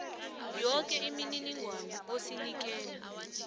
yoke imininingwana osinikela